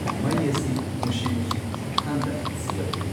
ꯃꯩ ꯑꯁꯤ ꯃꯨꯁꯤ ꯃꯨꯁꯤꯒꯤ ꯈꯨꯊꯥꯟꯗ ꯁꯤꯜꯂꯛꯎ